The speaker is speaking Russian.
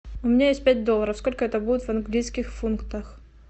у меня есть пять долларов сколько это будет в английских фунтах